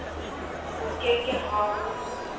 ho ke ke ha o